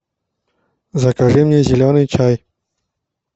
закажи мне зеленый чай